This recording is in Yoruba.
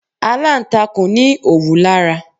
Alantakun ní òwú lára.